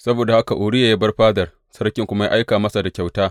Saboda haka Uriya ya bar fadar, sarki kuma ya aika masa da kyauta.